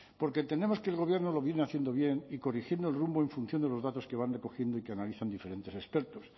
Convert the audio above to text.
porque entendemos que el gobierno lo viene haciendo bien y corrigiendo el rumbo en función de los datos que van recogiendo y que analizan diferentes expertos